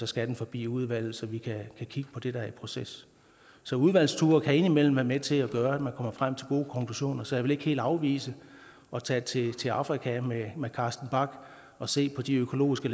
skal de forbi udvalget så vi kan kigge på det der er i proces så udvalgsture kan indimellem være med til at gøre at frem til gode konklusioner så jeg vil ikke helt afvise at tage til til afrika med carsten bach og se på de økologiske